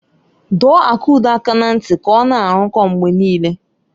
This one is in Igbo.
Dọọ Akudo aka na ntị ka ọ na-arụkọ mgbe niile!